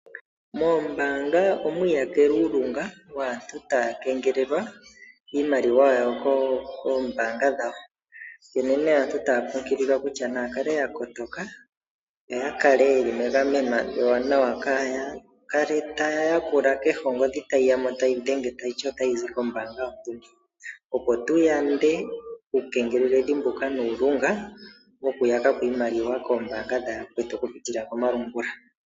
Moombaanga omwi iyakele uulunga waantu taya keengelelwa iimaliwa yawo koombanga dhawo, onkene aantu otaya kunkililwa ya kale ya kotoka yoya kale ye li megameno ewanawa kaaya kale taya yakula kehe ongodhi tayi dhenge tayi ti otayi dhenge tayi zi kombaanga, opo tu yande uukengeleledhi mbuka nuulunga wokuya ko iimaliwa koombaanga dha yakwetu okupitila komalungula.